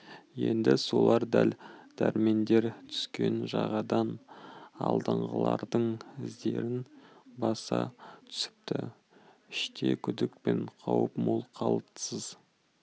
енді солар дәл дәрмендер түскен жағадан алдыңғылардың іздерін баса түсіпті іште күдік пен қауіп мол қалтқысыз